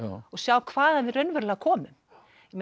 og sjá hvaðan við raunverulega komum